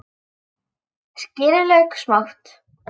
Skerið lauk smátt.